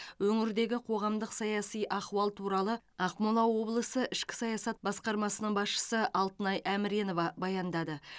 өңірдегі қоғамдық саяси ахуал туралы ақмола облысы ішкі саясат басқармасының басшысы алтынай әміренова баяндады